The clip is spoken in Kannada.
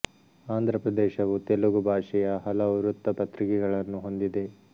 ಆಂಧ್ರ ಪ್ರದೇಶವು ತೆಲುಗು ಭಾಷೆಯ ಹಲವು ವೃತ್ತ ಪತ್ರಿಕೆಗಳನ್ನು ಹೊಂದಿದೆ